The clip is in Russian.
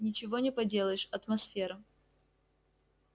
ничего не поделаешь атмосфера